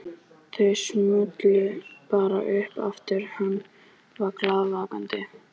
Þau smullu bara upp aftur hann var glaðvakandi.